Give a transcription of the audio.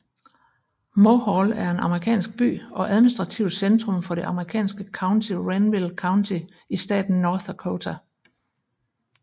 Mohall er en amerikansk by og administrativt centrum for det amerikanske county Renville County i staten North Dakota